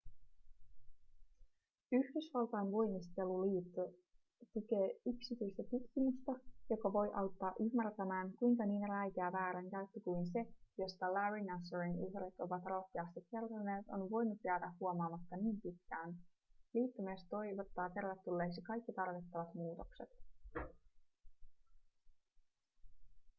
yhdysvaltain voimisteluliitto tukee yksityistä tutkimusta joka voi auttaa ymmärtämään kuinka niin räikeä väärinkäyttö kuin se josta larry nassarin uhrit ovat rohkeasti kertoneet on voinut jäädä huomaamatta niin pitkään liitto myös toivottaa tervetulleiksi kaikki tarvittavat muutokset